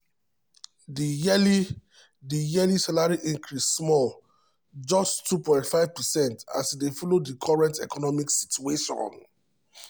di yearly di yearly salary increase small just 2.5 percent as e dey follow di current economic situation.